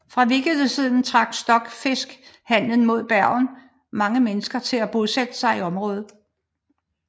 Fra vikingetiden trak stokfiskhandelen med Bergen mange mennesker til at bosætte sig i området